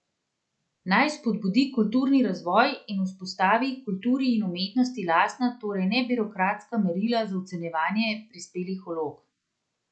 Naj spodbudi kulturni razvoj in vzpostavi kulturi in umetnosti lastna, torej ne birokratska merila za ocenjevanje prispelih vlog.